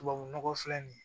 Tubabu nɔgɔ filɛ nin ye